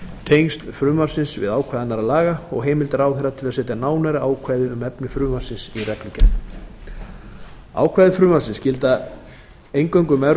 tengsl frumvarpsins við ákvæði annarra laga og heimild ráðherra til að setja nánari ákvæði um efni frumvarpsins í reglugerð ákvæði frumvarpsins gilda eingöngu um